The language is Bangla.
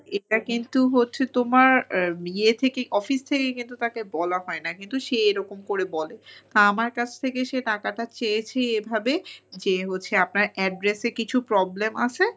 এটা কিন্তু হচ্ছে তোমার ইয়ে থেকে office থেকে কিন্তু তাকে বলা হয় না, কিন্তু সে এরকম করে বলে। তা আমার কাছ থেকে সে টাকাটা চেয়েছেই এভাবে যে হচ্ছে আপনার address এ কিছু problem আছে,